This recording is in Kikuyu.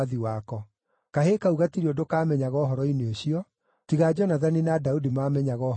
(Kahĩĩ kau gatirĩ ũndũ kaamenyaga ũhoro-inĩ ũcio; tiga Jonathani na Daudi maamenyaga ũhoro ũcio.)